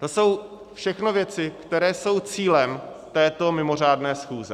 To jsou všechno věci, které jsou cílem této mimořádné schůze.